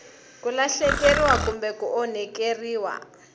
ku lahlekeriwa kumbe ku onhakeriwa